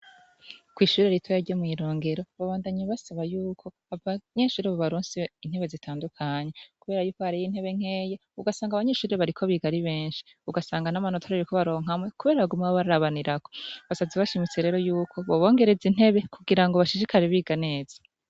Kw' ishure ritoya ryo mw' Irongero babandanya basaba yuko abanyeshure bobaronsa intebe zitandukanye. Kubera ari nkeyi kandi abanyeshure ari benshi, ugasanga n' amanota bariko baronka amwe kubera baguma barabanirako. Basavye bashimitse ko yuko bobongereza intebe kugirango bashishikare biga neza.